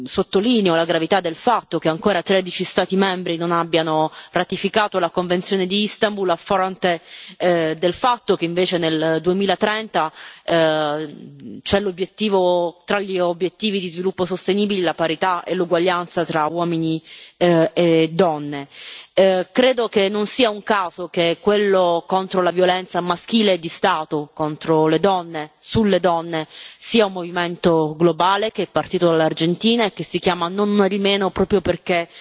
Sottolineo la gravità del fatto che ancora 13 Stati membri non abbiano ratificato la convenzione di Istanbul, a fronte del fatto che, invece, nel 2030 è previsto l'obiettivo, tra quelli di sviluppo sostenibile, della parità e l'uguaglianza tra uomini e donne. Credo che non sia un caso che quello contro la violenza maschile e di Stato contro le donne e sulle donne sia un movimento globale, che è partito l'Argentina, che si chiama Non una di meno, proprio perché